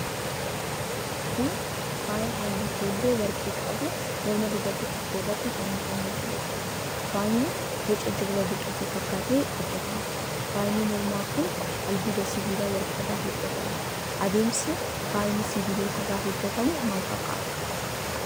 Kun, faaya haalluu keelloo warqee qabu morma dubartii tokkoo irratti fannifamee jiruu dha. Faayni boca jirma biqiltuu fakkaatee hojjatame. Faayni mormaa kun, albuuda sibiilaa warqee irraa hojjatame. Adeemsi faayni sibiilotaa irraa hojjatamu maal fakkaata?